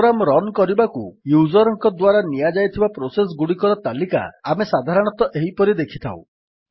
programme run କରିବାକୁ user ଙ୍କ ଦ୍ୱାରା ନିଆଯାଇଥିବା ପ୍ରୋସେସ୍ ଗୁଡିକର ତାଲିକା ଆମେ ସାଧାରଣତଃ ଏହିପରି ଦେଖିଥାଉ